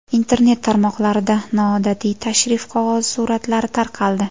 Internet tarmoqlarida noodatiy tashrif qog‘ozi suratlari tarqaldi .